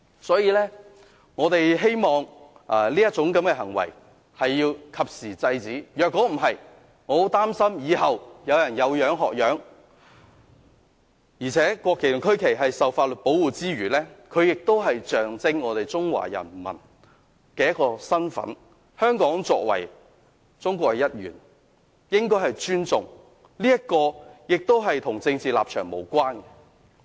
所以，我們希望及時制止這種行為，否則，我很擔心以後有人會"有樣學樣"，而且國旗和區旗受法律保護之餘，也象徵我們中國人民的身份，香港作為中國的一部分，應該尊重國旗和區旗，這與政治立場無關。